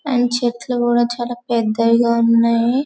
And చెట్లు గూడా చాలా పెద్దవిగా ఉన్నాయి .